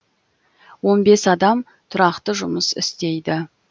он бес адам тұрақты жұмыс істейді